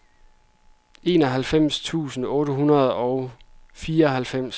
enoghalvfems tusind otte hundrede og fireoghalvfems